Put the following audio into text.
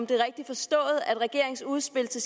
det rigtigt forstået at regeringens udspil til